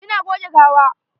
Ina goge gawa.